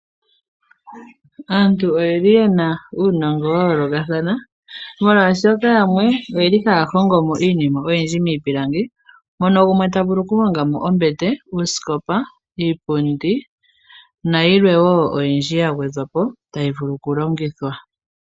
Aantu oyeli yena uunongo wa yoolokathana molwaashoka yamwe oyeli haya hongo iinima miipilangi mono gumwe tavulu okuhonga uusikopa ,iipundi nayilwe woo ya gwedhwapo tayi vulu oku longithwa.